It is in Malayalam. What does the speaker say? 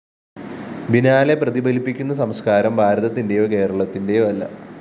ബിനാലെ പ്രതിഫലിപ്പിക്കുന്ന സംസ്‌കാരം ഭാരതത്തിന്റെയോ കേരളത്തിന്റെയോ അല്ല